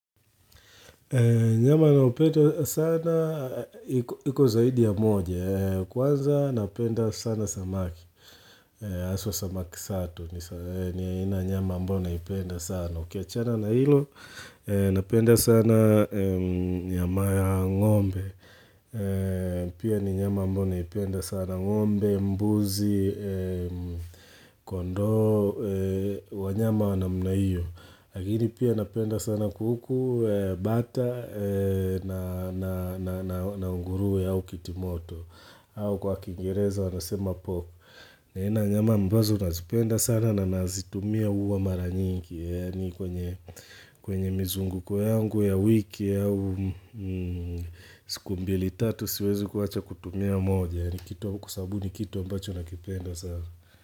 Nyama na upendo sana, hiko zaidi ya moja, kwanza napenda sana samaki, aswa samaki sato, ni ya ina nyama mbona ipenda sana, ukiachana na hilo, napenda sana nyama ya ng'ombe, pia ni nyama mbona ipenda sana ngombe, mbuzi, kondo, wanyama wanamuna hiyo. Lakini pia napenda sana kuhuku bata na unguruwe au kitimoto au kwa kiingereza wanasema pop aina ya nyama ambazo nazipenda sana na nazitumia huwa mara nyingi Yani kwenye mizunguko yangu ya wiki au siku mbili tatu siwezi kuwacha kutumia moja Yani kitu kwa sababu ni kitu ambacho nakipenda sana.